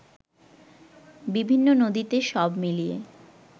বিভিন্ন নদীতে সব মিলিয়ে